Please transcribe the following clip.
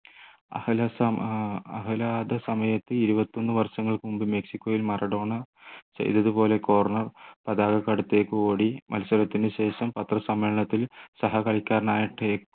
സമയത്ത് ഇരുപത്തിയൊന്ന് വർഷങ്ങൾക്ക് മുമ്പ് മെക്സിക്കോയിൽ മറഡോണ ചെയ്തതുപോലെ corner പതാകക്കു അടുത്തേക്ക് ഓടി മത്സരത്തിനുശേഷം പത്രസമ്മേളനത്തിൽ സഹകളിക്കാരനായ